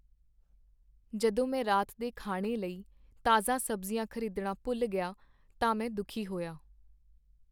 ਜਦੋਂ ਮੈਂ ਰਾਤ ਦੇ ਖਾਣੇ ਲਈ ਤਾਜ਼ਾ ਸਬਜ਼ੀਆਂ ਖ਼ਰੀਦਣਾ ਭੁੱਲ ਗਿਆ ਤਾਂ ਮੈ ਦੁਖੀ ਹੋਇਆ।